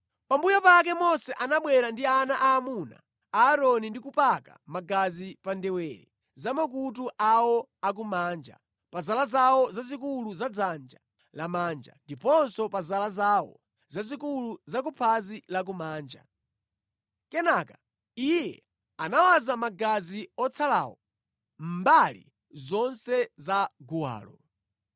Pambuyo pake Mose anabwera ndi ana aamuna a Aaroni ndi kupaka magazi pa ndewere za makutu awo akumanja, pa zala zawo zazikulu za dzanja lamanja, ndiponso pa zala zawo zazikulu za kuphazi lakumanja. Kenaka iye anawaza magazi otsalawo mbali zonse za guwalo.